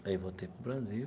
Aí voltei para o Brasil.